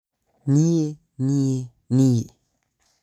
niĩ!niĩ!niĩ!